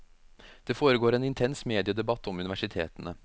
Det foregår en intens mediedebatt om universitetene.